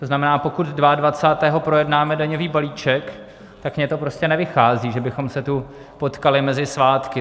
To znamená, pokud 22. projednáme daňový balíček, tak mně to prostě nevychází, že bychom se tu potkali mezi svátky.